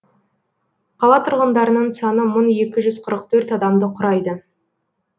қала тұрғындарының саны мың екі жүз қырық төрт адамды құрайды